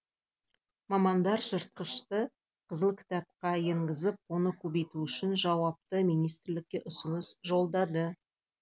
мамандар жыртқышты қызыл кітапқа енгізіп оны көбейту үшін жауапты министрлікке ұсыныс жолдады